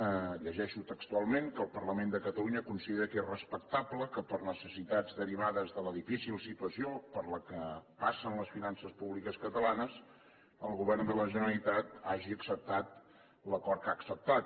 ho llegeixo textualment que el parlament de catalunya considera que és respectable que per necessitats derivades de la difícil situació per la qual passen les finances públiques catalanes el govern de la generalitat hagi acceptat l’acord que ha acceptat